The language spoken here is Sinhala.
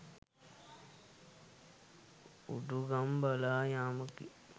උඩුගම් බලා යාමකි